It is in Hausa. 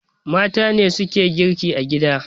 Mata ne suke girki a gida